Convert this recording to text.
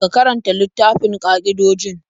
Ka karanta littafin ƙa'idojin?